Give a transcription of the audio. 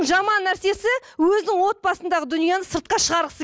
жаман нәрсесі өзінің отбасындағы дүниені сыртқа шығарғысы